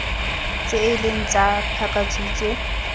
tse e leng tsa pakakhutshwe